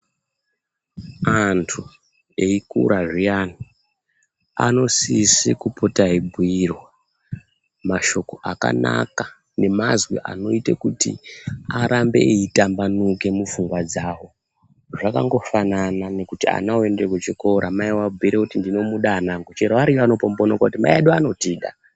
Antu eikurazviyani anosise kupota eibhuyirwa mashoko akanaka nemazwi anoitekuti arambe eitambanuka mupfungwa dzawo zvakangofanana nekuti ana oende kuchikora mai oabhuyire kuti 'ndinomuda ana angu'chero ariyo anotombooneka achiti mai edu anotida.